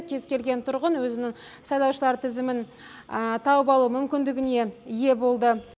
кез келген тұрғын өзінің сайлаушылар тізімін тауып алу мүмкіндігіне ие болды